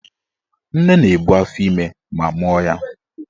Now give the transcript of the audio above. Nne na-ebu afọime ma mụọ ya.